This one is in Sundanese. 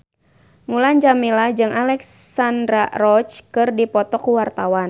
Mulan Jameela jeung Alexandra Roach keur dipoto ku wartawan